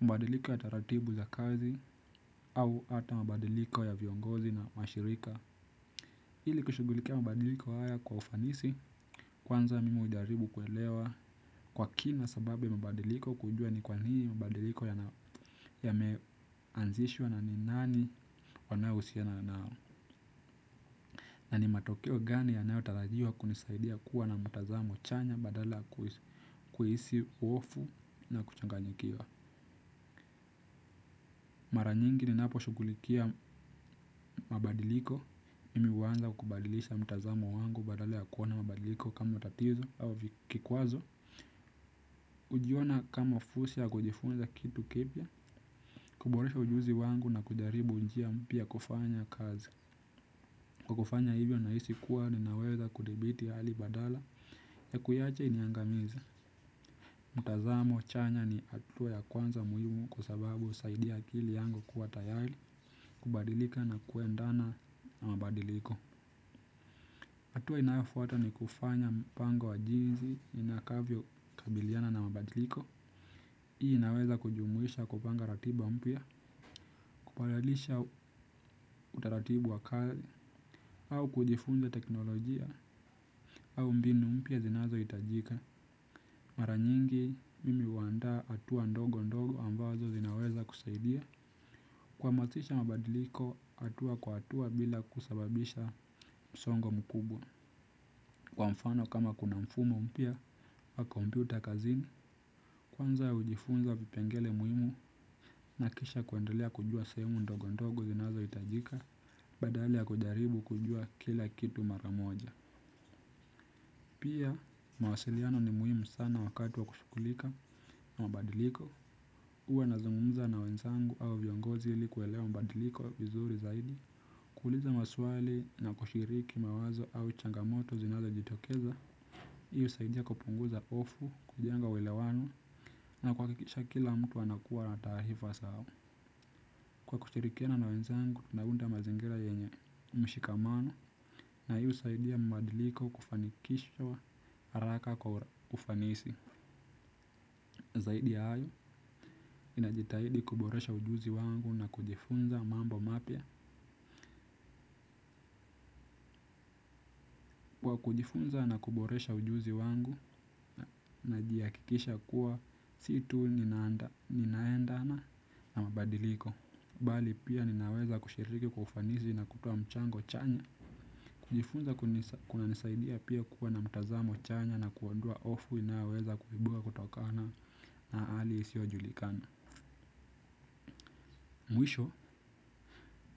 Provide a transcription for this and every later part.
mabadiliko ya taratibu za kazi au hata mabadiliko ya viongozi na mashirika. Ili kushughulikia mabadiliko haya kwa ufanisi kwanza mimi hujaribu kuelewa kwa kina sababu ya mabadiliko kujua ni kwa nini mabadiliko yameanzishwa na ni nani wanaohusiana nao. Na ni matokeo gani yanayotarajiwa kunisaidia kuwa na mtazamo chanya badala kuhisi hofu na kuchanganyikiwa. Mara nyingi ninapo shugulikia mabadiliko mimi uanza kubadilisha mtazamo wangu badala ya kuona mabadiliko kama tatizo au kikwazo. Ujiona kama fursa ya kujifunza kitu kipya, kuboresha ujuzi wangu na kujaribu njia mpya ya kufanya kazi. Kwa kufanya hivyo nahisi kuwa ninaweza kudibiti hali badala ya kuiacha iniangamize. Mtazamo chanya ni atua ya kwanza muhimu kwa sababu usaidia akili yangu kuwa tayali kubadilika na kuendana na mabadiliko. Atua inayofuata ni kufanya mpango wa jinzi inakavyo kabiliana na mabadiliko. Hii inaweza kujumuisha kupanga ratiba mpya, kuparalisha utaratibu wa kali, au kujifunza teknolojia, au mbinu mpya zinazo itajika. Mara nyingi, mimi uandaa atua ndogo ndogo ambazo zinaweza kusaidia kwamasisha mabadiliko, atua kwa atua bila kusababisha msongo mkubwa. Kwa mfano kama kuna mfumo mpya wa kompyuta kazini kwanza ujifunza vipengele muhimu na kisha kuendelea kujua sehemu ndogo ndogo zinazo itajika badala ya kujaribu kujua kila kitu mara moja. Pia mawasiliano ni muhimu sana wakati wa kushugulika mabadiliko huwa nazungumza na wenzangu au viongozi ili kuelewa mabadiliko vizuri zaidi. Kuuliza maswali na kushiriki mawazo au changamoto zinazo jitokeza. Hii usaidia kupunguza ofu kujenga uelewano na kwakikisha kila mtu anakuwa na taarifa sawa. Kwa kushirikiana na wenzangu, naunda mazingira yenye mshikamano na hii usaidia mbadiliko kufanikishwa araka kwa ufanisi. Zaidi ya ayu, ninajitahidi kuboresha ujuzi wangu na kujifunza mambo mapya. Kwa kujifunza na kuboresha ujuzi wangu, najiakikisha kuwa si tu ninaendana na mabadiliko bali pia ninaweza kushiriki kwa ufanisi na kutoa mchango chanya. Kujifunza kuna nisaidia pia kuwa na mtazamo chanya na kuondoa ofu inayoweza kuibuka kutokana na hali isio julikana. Mwisho,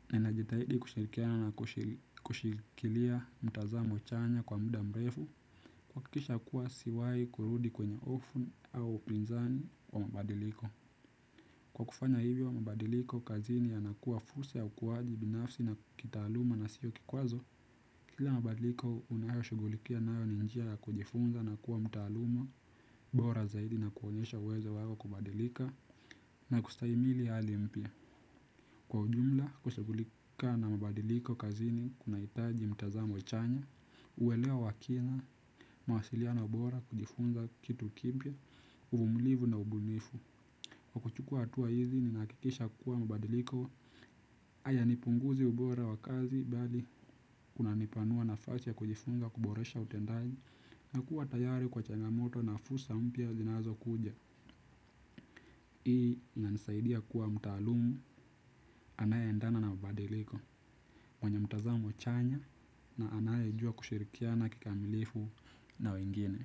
ninajitahidi kushirikiana na kushikilia mtazamo chanya kwa muda mrefu kwakikisha kuwa siwai kurudi kwenye ofu au upinzani wa mabadiliko. Kwa kufanya hivyo mabadiliko kazini yanakua fursa ya ukuwaji binafsi na kitaaluma na sio kikwazo. Kila mabadiliko unayo shugulikia nayo ni njia ya kujifunza na kuwa mtaaluma bora zaidi na kuonyesha uwezo wao wa kubadilika na kustaimili ali mpya. Kwa ujumla kushugulika na mabadiliko kazini kunaitaji mtazamo chanya. Uelewa wa kina mawasiliano bora kujifunza kitu kipya uvumilifu na ubunifu. Kwa kuchukua hatua hizo nahakikisha kuwa mabadiliko aya nipunguzi ubora wa kazi bali kuna nipanua nafasi ya kujifunza kuboresha utendaji na kuwa tayari kwa changamoto na fursa mpya zinazo kuja. Hii inanisaidia kuwa mtaalumu anaye endana na mabadiliko, mwenye mtazamo chanya na anaye jua kushirikiana kikamilifu na wengine.